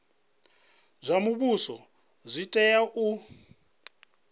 zwa muvhuso zwi tea u